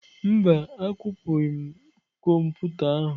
Mba, akwụpụghị m kọmputa ahụ.